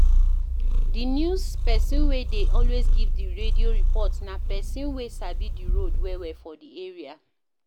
Di news person wey dey always give di radio report na person wey sabi di road well well for di area